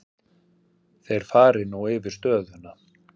Þeir fari nú yfir stöðuna.